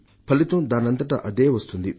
ఫలితం దానంతట అదే వస్తుంది